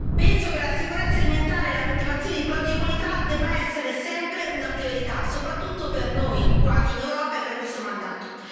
Penso che la sicurezza alimentare e la coltivazione di prodotti di qualità debbano essere sempre una priorità, soprattutto per noi, qua in Europa, e per questo mandato.